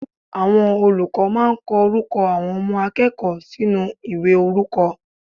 Àwọn olùkó máa ko orúkọ àwọn Ọmọ akéèkòó ìwé orúkọ